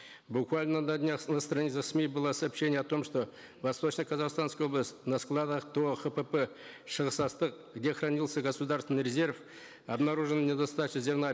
буквально на днях на страницах сми было сообщение о том что в восточно казахстанской области на складах тоо хпп шығыс астық где хранился государственный резерв обнаружена недостача зерна